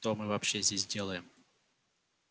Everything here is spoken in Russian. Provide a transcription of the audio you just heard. что мы вообще здесь делаем